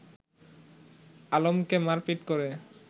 আলমকে মারপিট করে